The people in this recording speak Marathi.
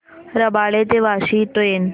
रबाळे ते वाशी ट्रेन